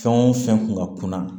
Fɛn o fɛn kun ka kunna